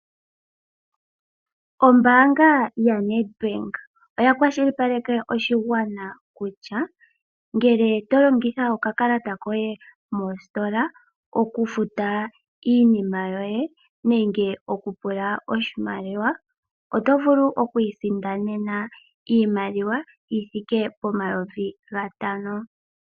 Ombaanga ya Nedbank oya kwashilipaleke oshigwana kutya ngele tolongitha okakalata koye mositola okufuta iinima yoye nenge okupula oshimaliwa otovulu oku isindanena iimaliwa yithike pomayovi gatano.